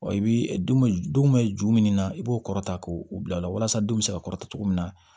Wa i bi dun bɛ ju min na i b'o kɔrɔ ta k'o bila o la walasa denw bɛ se ka kɔrɔta togo min na